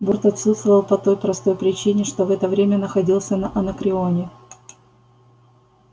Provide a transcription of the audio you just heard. борт отсутствовал по той простой причине что в это время находился на анакреоне